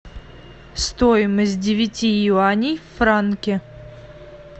стоимость девяти юаней в франке